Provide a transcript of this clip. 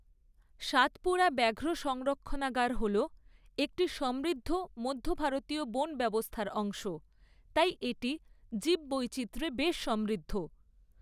সাতপুরা ব্যাঘ্র সংরক্ষণাগার হল একটি সমৃদ্ধ মধ্য ভারতীয় বন ব্যবস্থার অংশ, তাই এটি জীববৈচিত্র্যে বেশ সমৃদ্ধ।